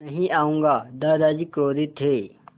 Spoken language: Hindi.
नहीं आऊँगा दादाजी क्रोधित थे